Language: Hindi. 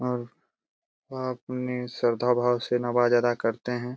और वह अपने श्रद्धा भाव से नवाज अदा करते हैं।